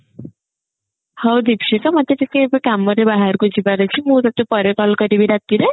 ହଉ ଦୀକ୍ଷିତା ମତେ ଟିକେ ଏବେ କାମରେ ବାହାରକୁ ଯିବାର ଅଛି ମୁଁ ତତେ ପରେ call କରିବି ରାତିରେ